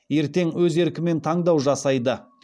ертең өз еркімен таңдау жасайды